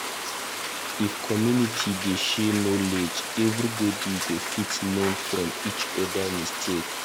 If community dey share knowledge, everybody go fit learn from each other mistake.